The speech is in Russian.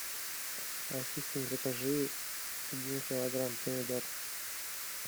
ассистент закажи один килограмм помидор